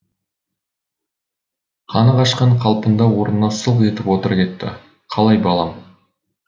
қаны қашқан қалпында орнына сылқ етіп отыра кетті қалай балам